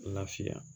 Lafiya